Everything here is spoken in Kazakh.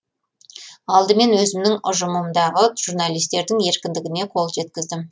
алдымен өзімнің ұжымымдағы журналистердің еркіндігіне қол жеткіздім